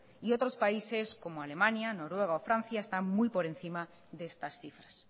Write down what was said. y otros países como alemania noruega o francia están muy por encima de estas cifras